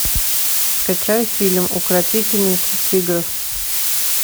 скачай фильм укротительница тигров